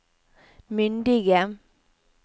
myndige